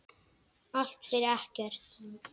Allt fyrir ekki neitt.